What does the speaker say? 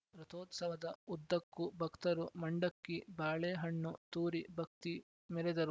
ರಥೋತ್ಸವದ ಉದ್ದಕ್ಕೂ ಭಕ್ತರು ಮಂಡಕ್ಕಿ ಬಾಳೆ ಹಣ್ಣು ತೂರಿ ಭಕ್ತಿ ಮೆರೆದರು